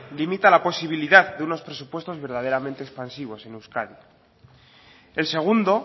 limita la posibilidad de unos presupuestos verdaderamente expansivos en euskadi el segundo